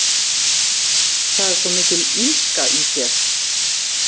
Það er svo mikil illska í þér.